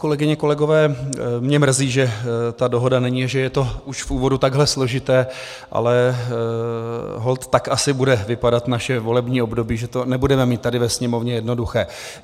Kolegyně, kolegové, mě mrzí, že ta dohoda není, že je to už v úvodu takhle složité, ale holt tak asi bude vypadat naše volební období, že to nebudeme mít tady ve Sněmovně jednoduché.